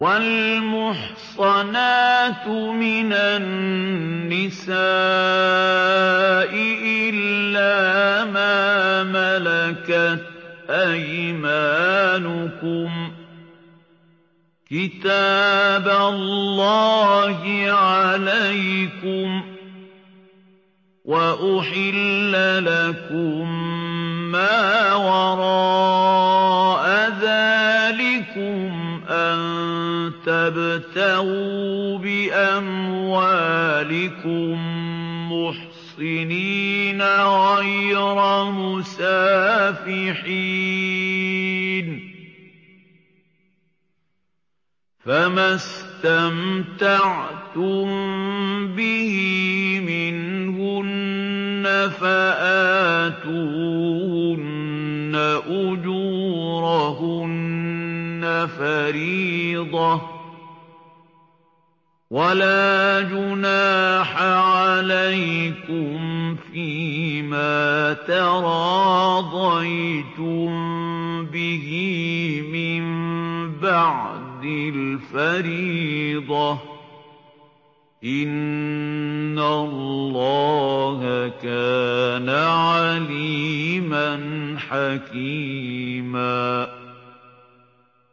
۞ وَالْمُحْصَنَاتُ مِنَ النِّسَاءِ إِلَّا مَا مَلَكَتْ أَيْمَانُكُمْ ۖ كِتَابَ اللَّهِ عَلَيْكُمْ ۚ وَأُحِلَّ لَكُم مَّا وَرَاءَ ذَٰلِكُمْ أَن تَبْتَغُوا بِأَمْوَالِكُم مُّحْصِنِينَ غَيْرَ مُسَافِحِينَ ۚ فَمَا اسْتَمْتَعْتُم بِهِ مِنْهُنَّ فَآتُوهُنَّ أُجُورَهُنَّ فَرِيضَةً ۚ وَلَا جُنَاحَ عَلَيْكُمْ فِيمَا تَرَاضَيْتُم بِهِ مِن بَعْدِ الْفَرِيضَةِ ۚ إِنَّ اللَّهَ كَانَ عَلِيمًا حَكِيمًا